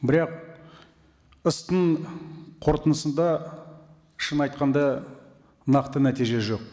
бірақ қорытындысында шын айтқанда нақты нәтиже жоқ